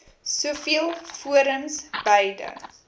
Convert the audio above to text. soveel forums beide